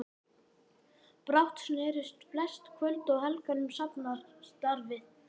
Brátt snerust flest kvöld og helgar um safnaðarstarfið.